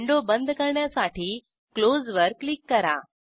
window बंद करण्यासाठी close वर क्लिक करा